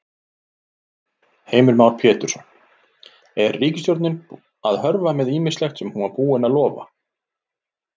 Heimir Már Pétursson: Er ríkisstjórnin að hörfa með ýmislegt sem hún var búin að lofa?